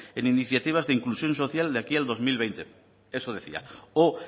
en iniciativas de inclusión social de aquí al dos mil veinte eso decía o